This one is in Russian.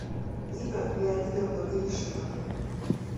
нина леонидовна гришина